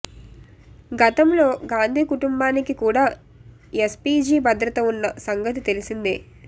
గతంలో గాంధీ కుటుంబానికి కూడా ఎస్పీజీ భద్రత ఉన్న సంగతి తెలిసిందే